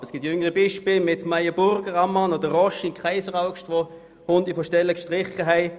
Aber es gibt jüngere Beispiele mit Meyer Burger, Ammann oder Roche in Kaiseraugst, die eine Runde Stellen gestrichen haben.